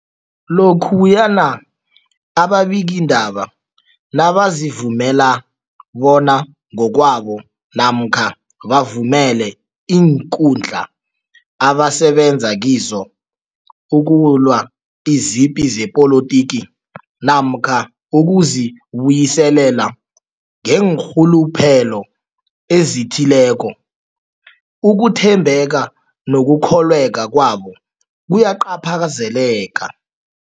Lokhuyana ababikiindaba nabazivumela bona ngokwabo namkha bavumele iinkundla abasebenza kizo ukulwa izipi zepolitiki namkha ukuzi buyiselela ngeenrhuluphelo ezithileko, ukuthembeka nokukholweka kwabo kuyacaphazeleka.